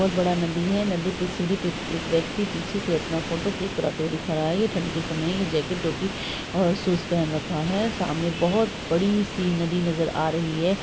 बहुत बड़ा नदी है नदी पे सीढ़ी पे एक व्यक्ति पीछे से अपना फोटो क्लिक कराते हुए दिख रहा है| ये ठंड के समय जैकेट टोपी और शूज पहन रखा है| सामने बहोत बड़ी-सी नदी नजर आ रही है।